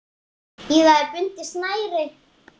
Í það er bundið snæri.